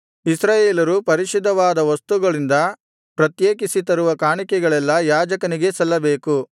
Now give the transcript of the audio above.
ಇಸ್ರಾಯೇಲರು ಪರಿಶುದ್ಧವಾದ ವಸ್ತುಗಳಿಂದ ಪ್ರತ್ಯೇಕಿಸಿ ತರುವ ಕಾಣಿಕೆಗಳೆಲ್ಲಾ ಯಾಜಕನಿಗೇ ಸಲ್ಲಬೇಕು